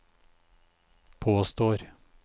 påstår